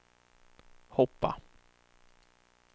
hoppa